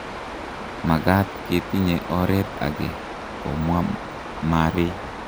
Magat ketinye oret age,"komwa Murray.